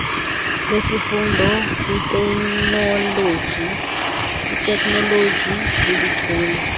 lwesifundo kwiteknoloji bubuchule